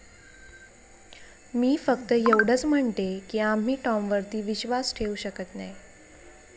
मी फक्त एवढंच म्हणतेय की आम्ही टॉमवरती विश्वास ठेवू शकत नाही.